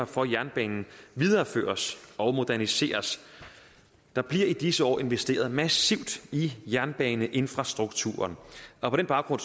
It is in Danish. for jernbanen videreføres og moderniseres der bliver i disse år investeret massivt i jernbaneinfrastrukturen og på den baggrund